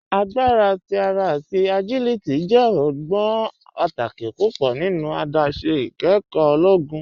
Agbara ti ara ati agiliti jẹ ọgbọn pátàkì púpọ nínu àdásé ìkẹ́kọ ologun.